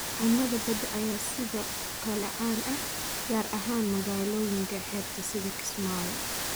Cunnada badda ayaa sidoo kale caan ah, gaar ahaan magaalooyinka xeebta sida Kismaayo